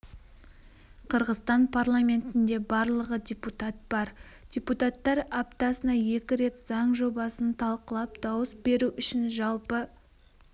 қырғызстан парламентінде барлығы депутат бар депутаттар аптасына екі рет заң жобасын талқылап дауыс беру үшін жалпы